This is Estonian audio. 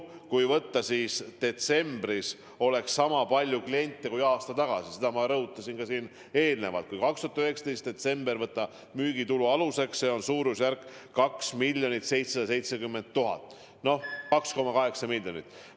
Kui võtta aluseks, et detsembris oleks sama palju kliente, kui oli aasta tagasi – seda ma rõhutasin enne ka, et kui võtta 2019. aasta detsembri müügitulu aluseks –, siis see summa oleks suurusjärgus 2 770 000 eurot ehk siis umbes 2,8 miljonit.